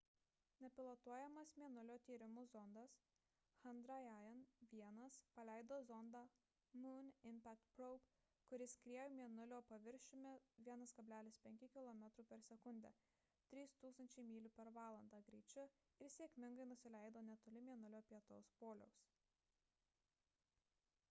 nepilotuojamas mėnulio tyrimų zondas chandrayaan-1 paleido zondą moon impact probe kuris skriejo mėnulio paviršiumi 1,5 kilometrų per sekundę 3 000 mylių per valandą greičiu ir sėkmingai nusileido netoli mėnulio pietų poliaus